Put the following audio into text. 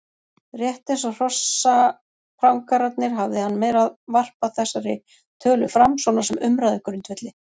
Rétt eins og hrossaprangararnir hafði hann meira varpað þessari tölu fram svona sem umræðugrundvelli.